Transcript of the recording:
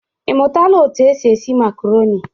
Ị mụtala etu e si esi makaroni?